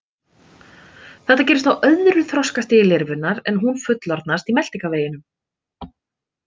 Þetta gerist á öðru þroskastigi lirfunnar en hún fullorðnast í meltingarveginum.